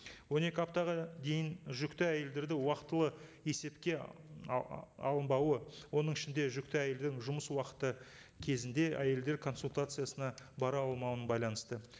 он екі аптаға дейін жүкті әйелдерді уақытылы есепке алынбауы оның ішінде жүкті әйелдің жұмыс уақыты кезінде әйелдер консультациясына бара алмауымен байланысты